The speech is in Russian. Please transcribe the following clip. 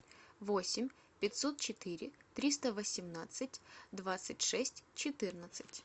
восемь пятьсот четыре триста восемнадцать двадцать шесть четырнадцать